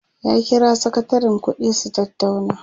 ya kira sakatarin ƙuɗi su tattauna